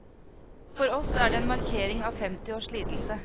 For oss er det en markering av femti års lidelse.